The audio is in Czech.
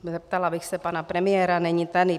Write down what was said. Zeptala bych se pana premiéra - není tady.